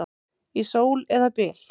Í sól eða byl.